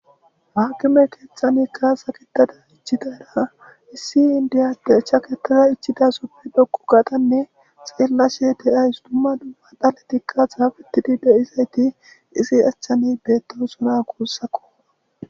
Haakime keexxanikka saketada ichidara issi indiya de chakettaza ichida soppi dhoqu gatanne xeellashe deyays dumma duma dhaletikkas hafitidi do7izayti isi achchani beettosona gussako